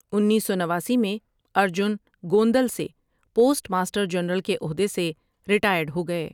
انیس سو نواسی میں ارجن گوندل سے پوسٹ ماسٹر جنرل کے عہدے سے ریٹائرڈ ہو گئے ۔